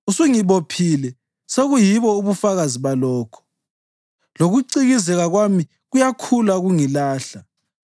Usungibophile sekuyibo ubufakazi balokho; lokucikizeka kwami kuyakhula kungilahla.